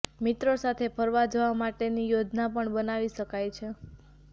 મિત્રો સાથે ફરવા જવા માટેની યોજના પણ બનાવી શકાય છે